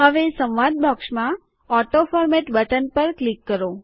હવે સંવાદ બોક્સમાં ઓટોફોરમેટ બટન પર ક્લિક કરો